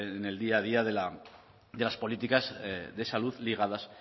en el día a día de las políticas de salud ligadas